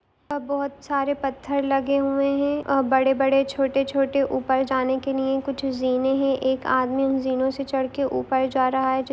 अब बहुत सारे पत्थर लगे हुए है और बड़े-बड़े छोटे-छोटे ऊपर जाने के लिए कुछ जीने है एक आदमी उन जीनों से चढ़के ऊपर जा रहा है।